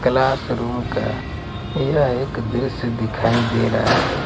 Classroom का यह एक दृश्य दिखाई दे रहा है।